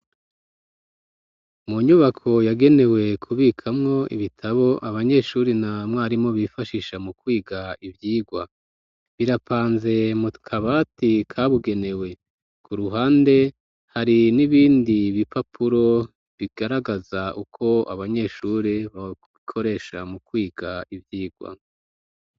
Mu nyubako yagenewe kubikamwo ibitabo, abanyeshuri na mwarimu bifashisha mu kwiga ivyigwa, birapanze mu kabati kabugenewe, ku ruhande hari n'ibindi bipapuro bigaragaza uko abanyeshuri babikoresha mu kwiga ivyigwa.